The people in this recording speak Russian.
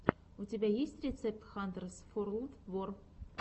у тебя есть рецепт хантерс форлд вор